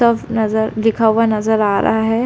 Tough नजर लिखा हुआ नजर आ रहा है।